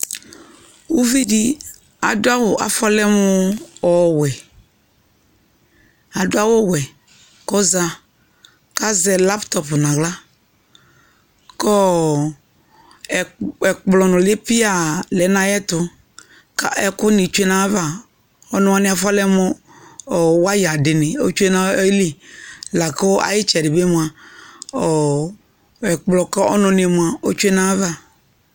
Uvi di adʋ awʋ, afɔlɛ mʋ ɔwɛ, adʋ awʋ wɛ kʋ ɔza kʋ azɛ lapʋtɔpʋ naɣla kʋ ɔ ɛkplɔ nʋli piaa lɛ nʋ ayɛtʋ kʋ ɛkʋ ni tsue nʋ ayava Ɔnʋ wani afɔlɛ mʋ waya di ni otsue nayili la kʋ ayitsɛdi bi moa ɔ ɛkplɔ kʋ ɔnʋ ni moa otsue nayava